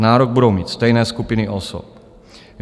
Nárok budou mít stejné skupiny osob.